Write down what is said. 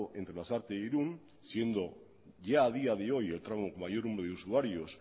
entre lasarte e irun siendo ya a día de hoy el tramo mayor número de usuarios